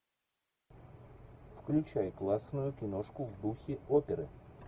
включай классную киношку в духе оперы